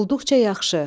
Olduqca yaxşı.